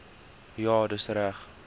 ja dis reg